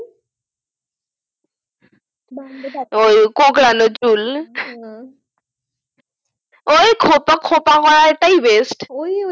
ওই কোঁকড়ানো চুল ওই খোঁপা খোঁপা হওয়াটাই best